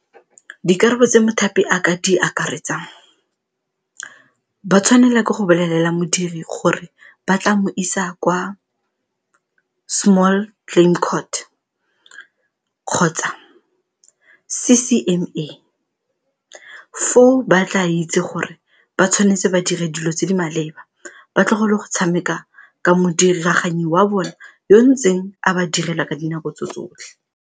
Dikarabo tse mothapi a ka di akaretsang ba tshwanela ke go bolelela modiri gore ba tla mo isa kwa small claim court kgotsa C_C_M_A, foo ba tla itse gore ba tshwanetse ba dire dilo tse di maleba ba tlogele go tshameka ka modiraganyi wa bona yo ntseng a ba direla ka dinako tse tsotlhe.